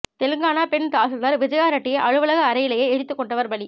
தெலங்கானா பெண் தாசில்தார் விஜயா ரெட்டியை அலுவலக அறையிலேயே எரித்துக் கொன்றவர் பலி